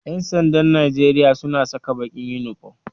Ƴansandan Najeria suna saka baƙin inifom